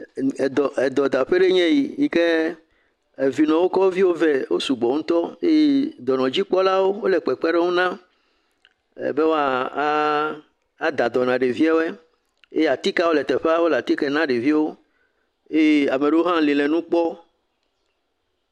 Edɔ.., Edɔdaƒe aɖee nye eyi eye vinɔwo kɔ wo viwo vɛ wosugbɔ ŋutɔ eye dɔnɔdzikpɔlawo le kpekpeɖeŋu nam bɔɛ̃e woada dɔ na ɖeviawo, atikewo le teƒe wole atike na ɖeviawo. Amewo li le nu kpɔm.